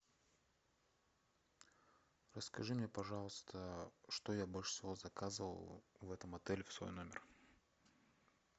расскажи мне пожалуйста что я больше всего заказывал в этом отеле в свой номер